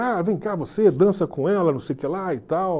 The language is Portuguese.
Ah, vem cá você, dança com ela, não sei o que lá e tal.